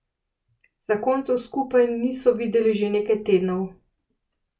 Zakoncev skupaj niso videli že nekaj tednov.